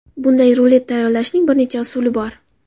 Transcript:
Bunday rulet tayyorlashning bir necha usuli bor.